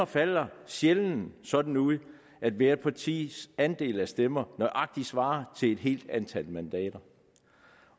falder sjældent sådan ud at hvert partis andel af stemmerne nøjagtig svarer til et helt antal mandater